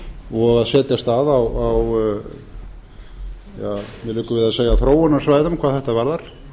og að setjast að á mér liggur við að segja þróunarsvæðum hvað þetta varðar